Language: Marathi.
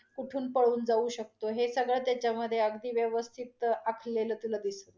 कुठून पळून जाऊ शकतो हे सगळ त्याच्यामध्ये अगदी व्यवस्थीतं आखलेल दिसतं.